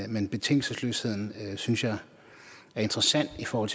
men betingelsesløsheden synes jeg er interessant i forhold